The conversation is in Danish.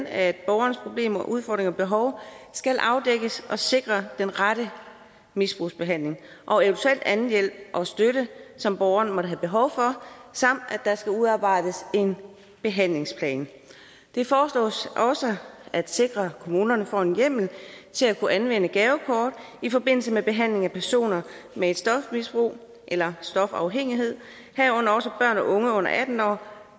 at borgerens problemer udfordringer og behov skal afdækkes der sikres den rette misbrugsbehandling og eventuel anden hjælp og støtte som borgeren måtte have behov for samt at der skal udarbejdes en behandlingsplan det foreslås også at sikre at kommunerne får en hjemmel til at kunne anvende gavekort i forbindelse med behandlingen af personer med stofmisbrug eller stofafhængighed herunder også børn og unge under atten år